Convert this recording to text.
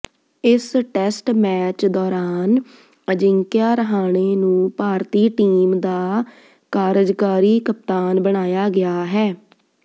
ਇਸ test match ਦੌਰਾਨ ਅਜਿੰਕਿਆ ਰਹਾਣੇ ਨੂੰ ਭਾਰਤੀ ਟੀਮ ਦਾ ਕਾਰਜਕਾਰੀ ਕਪਤਾਨ ਬਣਾਇਆ ਗਿਆ ਹੈ